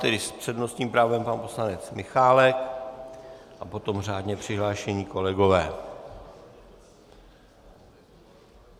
Teď s přednostním právem pan poslanec Michálek a potom řádně přihlášení kolegové.